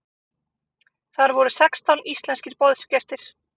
Þar voru sextán íslenskir boðsgestir.